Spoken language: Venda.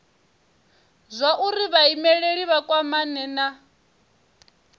zwauri vhaimeleli vha kwamane na